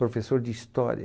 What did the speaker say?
Professor de história.